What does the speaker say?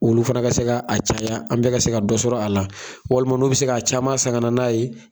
Olu fana ka se ka a caya an bɛɛ ka se ka dɔ sɔrɔ a la walima n'u bi se k'a caman san ka na n'a ye.